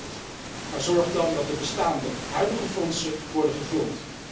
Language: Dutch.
Akkoord, maar zorg dan dat de bestaande huidige fondsen worden gevuld.